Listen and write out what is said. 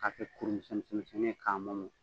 Ka kɛ kuru misɛn misɛn misɛnnin ye k'a